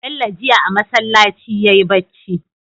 Bello jiya a masalaci yayi bacci